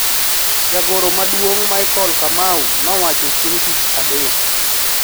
Jagoro maduong` Michael Kamau nowacho chieng tich Adek